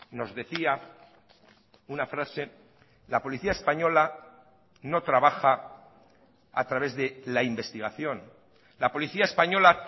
nos decía una frase la policía española no trabaja a través de la investigación la policía española